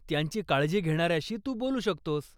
त्यांची काळजी घेणाऱ्याशी तू बोलू शकतोस.